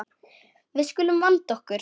Við skulum vanda okkur.